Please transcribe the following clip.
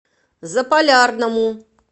заполярному